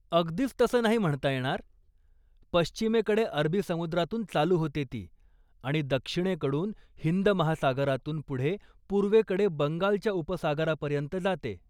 अगदीच तसं नाही म्हणता येणार, पश्चिमेकडे अरबी समुद्रातून चालू होते ती आणि दक्षिणेकडून हिंद महासागरातून पुढे पूर्वेकडे बंगालच्या उपसागरापर्यंत जाते.